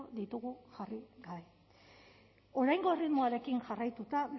ditugu jarri gabe oraingo erritmoarekin jarraituta